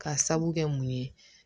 Ka sabu kɛ mun ye